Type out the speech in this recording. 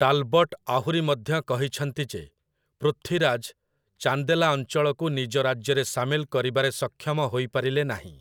Talbot ଆହୁରି ମଧ୍ୟ କହିଛନ୍ତି ଯେ, ପୃଥ୍ୱୀରାଜ ଚାନ୍ଦେଲା ଅଞ୍ଚଳକୁ ନିଜ ରାଜ୍ୟରେ ସାମିଲ କରିବାରେ ସକ୍ଷମ ହୋଇପାରିଲେ ନାହିଁ ।